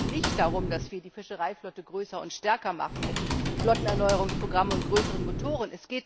Es geht doch nicht darum, dass wir die Fischereiflotte größer und stärker machen mit Flottenerneuerungsprogrammen und größeren Motoren.